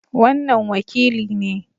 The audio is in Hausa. Wannan wakili ne